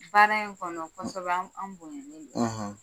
Baara in kɔnɔ kosɛbɛ an bonyɛnnen don ,